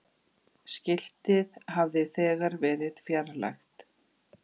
Skiltið hafi þegar verið fjarlægt.